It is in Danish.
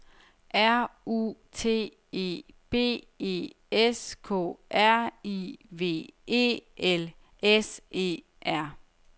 R U T E B E S K R I V E L S E R